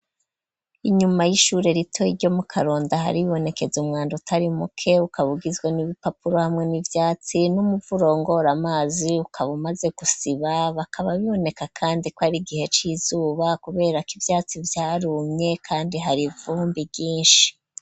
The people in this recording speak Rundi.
Inyuma y'ishure rito iryo mu karonda hari ibonekeza umwanda utari muke ukabugizwa n'ibipapuro hamwe n'ibyatsi n'umuvurongora amazi ukaba umaze gusiba bakaba biboneka kandi ko ari igihe c'izuba kubera ko ibyatsi byarumye kandi hari vumbi vyinshi.